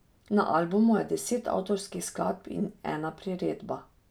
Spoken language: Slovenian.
Na albumu je deset avtorskih skladb in ena priredba.